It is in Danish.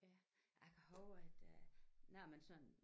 Ja jeg kan huske at øh når man sådan